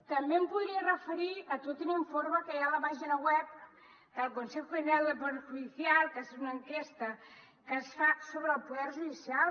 també em podria referir a tot un informe que hi ha a la pàgina web del con·sejo general del poder judicial que és una enquesta que es fa sobre el poder judi·cial